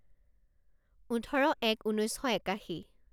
ওঠৰ এক ঊনৈছ শ একাশী